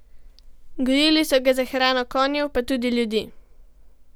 Gojili so ga za hrano konjev, pa tudi ljudi.